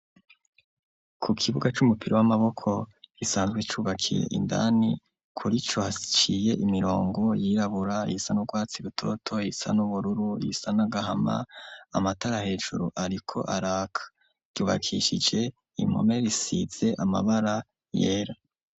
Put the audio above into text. Ku kibuga c'umupira w'amaboko gisanzwe cubakiye indani kuri co haciye imirongo yirabura, iyisa n'urwatsi rutoto, iyisa n'ubururu, iyisa nagahama amatara hejuru ariko araka ryubakishije inkomerisitze amabara yera.